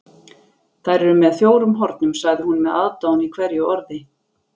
Þær eru með fjórum hornum, sagði hún með aðdáun í hverju orði.